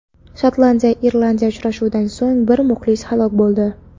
Shotlandiya Irlandiya uchrashuvidan so‘ng bir muxlis halok bo‘ldi.